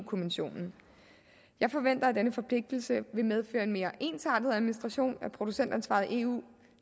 kommissionen jeg forventer at denne forpligtelse vil medføre en mere ensartet administration af producentansvaret i eu